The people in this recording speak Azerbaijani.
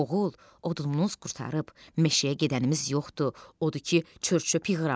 Oğul, odunumuz qurtarıb, meşəyə gedənimiz yoxdur, odur ki, çör-çöp yığıram.